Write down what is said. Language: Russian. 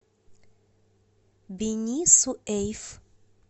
бени суэйф